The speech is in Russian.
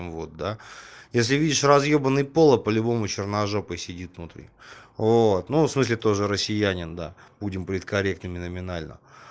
ну вот да если видишь разъёмный поло по-любому черножопый сидит внутри вот ну в смысле тоже россиянин да будем политкорректными номинально